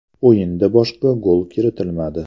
O‘yinda boshqa gol kiritilmadi.